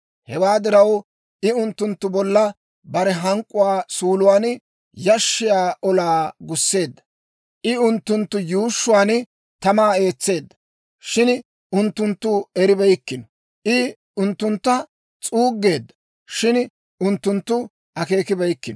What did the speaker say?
Hewaa diraw, I unttunttu bolla bare hank'k'uwaa suuluwaanne yashshiyaa olaa gusseedda; I unttunttu yuushshuwaan tamaa eetseedda, shin unttuntta eribeykkino; I unttunttu s'uuggeedda; shin unttunttu akeekibeyikkino.